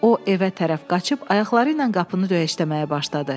O evə tərəf qaçıb ayaqları ilə qapını döyəcləməyə başladı.